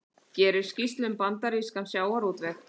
Gerir skýrslu um bandarískan sjávarútveg